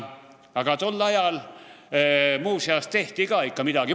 Aga tol ajal tehti ka ikka midagi.